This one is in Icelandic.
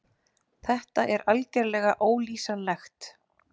Þetta er algerlega ólýsanlegt.